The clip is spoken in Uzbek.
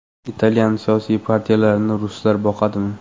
Italyan siyosiy partiyalarini ruslar boqadimi?